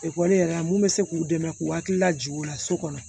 Ekɔli yɛrɛ la mun bɛ se k'u dɛmɛ k'u hakili lajigin o la so kɔnɔ